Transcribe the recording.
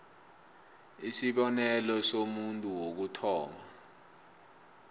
isibonelo somuntu wokuthoma